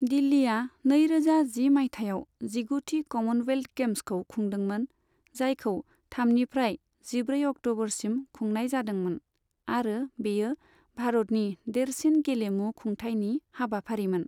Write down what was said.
दिल्लीआ नैरोजा जि मायथाइयाव जिगुथि कमनवेल्थ गेम्सखौ खुंदोंमोन, जायखौ थामनिफ्राय जिब्रै अक्ट'बरसिम खुंनाय जादोंमोन आरो बेयो भारतनि देरसिन गेलेमु खुंथायनि हाबाफारिमोन।